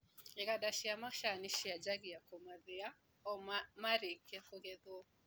Iganda cia macani cianjagia kũmathĩa o marĩkia kũgetwo.